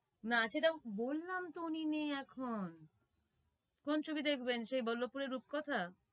না সেটা বললামতো উনি নেই এখন কোন ছবি দেখবেন সেই বল্লবপুরের রূপকথা